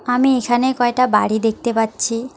আমি এখানে কয়টা বাড়ি দেখতে পাচ্ছি।